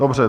Dobře.